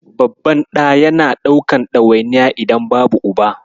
Babban ɗa yana ɗaukan ɗawainiya idan babu Uba.